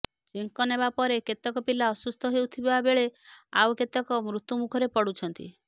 ଚେଙ୍କ ନେବା ପରେ କେତେକ ପିଲା ଅସୁସ୍ଥ ହେଉଥିବା ବେଳେ ଆଉ କେତେକ ମୃତ୍ୟୁ ମୁଖରେ ପଡ଼ୁଛନ୍ତି